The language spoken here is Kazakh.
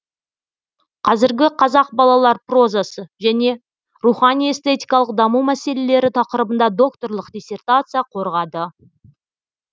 қазіргі қазақ балалар прозасы және рухани эстетикалық даму мәселелері тақырыбында докторлық диссертация қорғады